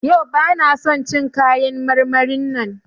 Yau bana son cin kayan marmarin nan.